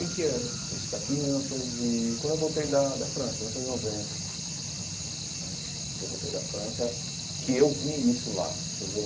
Em que ano isso daqui, em mil novecentos e quando eu voltei da da França, mil novecentos e noventa eh, que eu voltei da França que eu vi isso lá, entendeu?